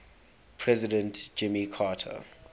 president jimmy carter